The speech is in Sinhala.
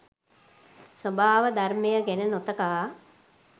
ස්වභාව ධර්මය ගැන නොතකා